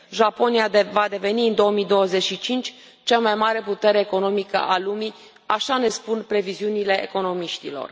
Japonia va deveni în 2025 cea mai mare putere economică a lumii așa ne spun previziunile economiștilor.